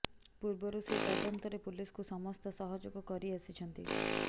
ପୂର୍ବରୁ ସେ ତଦନ୍ତରେ ପୁଲିସକୁ ସମସ୍ତ ସହଯୋଗ କରି ଆସିଛନ୍ତି